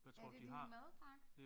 Er det din madpakke?